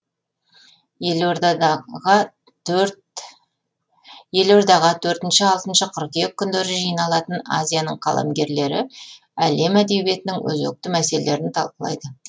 елордаға төртінші алтыншы қыркүйек күндері жиналатын азияның қаламгерлері әлем әдиебиетінің өзекті мәселелерін талқылайды